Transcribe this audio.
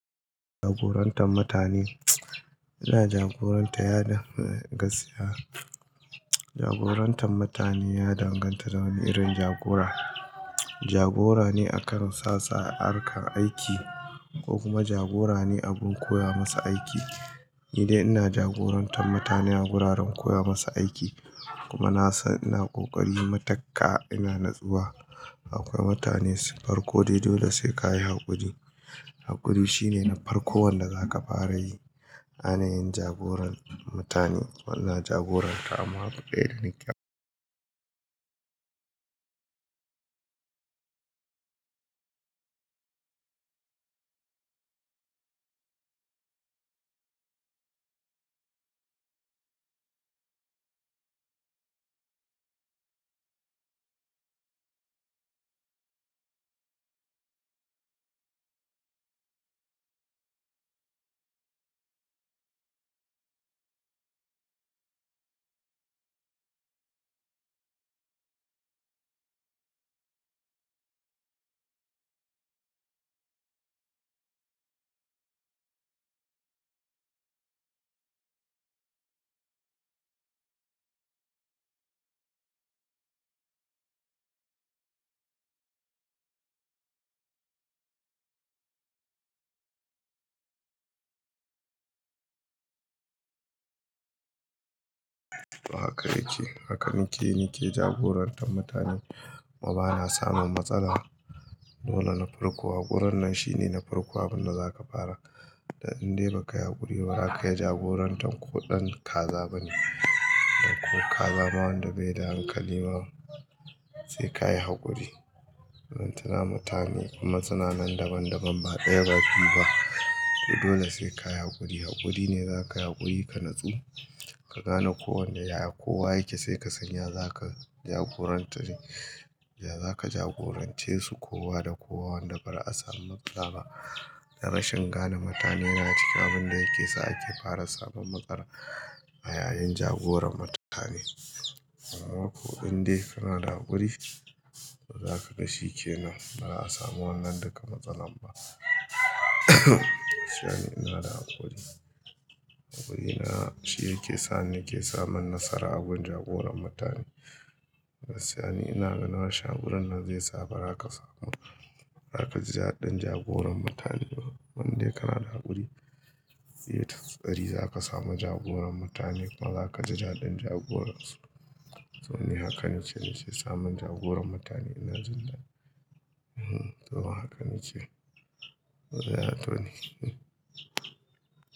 Jagorantar mutane. Ina jagorantar yadin gaskiya. Jagorantar mutane ya danganta da wani irin jagora. Jagora ne akan sa sa, harkar aiki ko kuma jagora ne abin koya masa aiki. Ni dai ina jagorantar mutane a guraren koya masa aiki kuma na san ina ƙoƙari matukka ina natsuwa. Akwai mutane su farko dai dole sai ka yi haƙuri. Haƙuri shine na farko wanda zaka fara yi. Anayin jagoran mutane muna jagoranta amma ba ƙaya da nika ba. Haka yake, hakanike ne ke jagorantar mutane kuma bana samun matsala. Dole na farko hakurin nan shine na farko abin da zaka fara. Dan in dai bakai yi haƙuri ba, raka yi jagorantar ko ɗan kaza bane. Dan ko kaza ma wanda bai da hankali ma sai ka yi haƙuri. Ban tana mutane kuma suna nan daban daban ba ɗaya ba biyu ba. To dole sai ka yi haƙuri. Haƙuri ne zaka yi haƙuri ka natsu, ka gane ko wanda yaya kowa yake sai ka sanya zaka jagorantani. Da zaka jagorance su kowa da kowa wanda baza'a samu matsala ba. Da rashin gane mutane yana cika abin da yake sa ake fara samun matsala a yayin jagoran mutane. Amma ko in dai kana da haƙuri, to zaka ga shikenan ba'a samu wannan duka matsala ba. Danni ina da haƙuri. Haƙuri na shi yake sa ni ke samun nasara a gun jagoran mutane. Gaskiya ne ina ganin wasu hakurin nan zai sa ba raka samu. Harka ji daɗin jagoran mutane. Wanda kana da haƙuri, ita tsari zaka samu jagoran mutane kuma zaka ji daɗin jagoran su. To ni hakanike ne ke samun jagoran mutane ina jin dadi. Hmm, to hakanice. Yayato nike. Hmm.